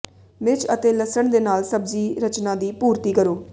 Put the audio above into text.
ਮਿਰਚ ਅਤੇ ਲਸਣ ਦੇ ਨਾਲ ਸਬਜ਼ੀ ਰਚਨਾ ਦੀ ਪੂਰਤੀ ਕਰੋ